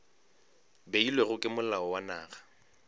beilwego ke molao wa naga